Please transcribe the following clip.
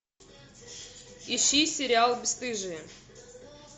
ищи сериал бесстыжие